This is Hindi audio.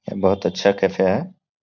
यह बहुत अच्छा कैफ़े है।